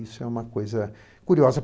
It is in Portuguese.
Isso é uma coisa curiosa.